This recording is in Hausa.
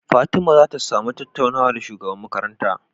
Fatima zata samu tattaunawa da shugaban makaranta